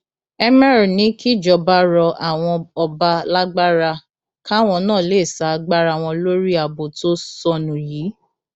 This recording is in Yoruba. emir ní kíjọba rọ àwọn ọba lágbára káwọn náà lè sa agbára wọn lórí ààbò tó sọnù yìí